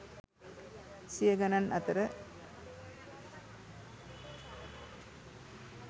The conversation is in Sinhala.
සිය ගනන් අතර